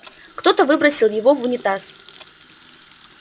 кто-то выбросил его в унитаз